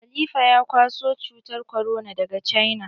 Khalifa ya kwaso cutar korona daga cina.